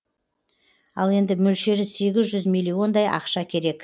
ал енді мөлшері сегіз жүз млн дай ақша керек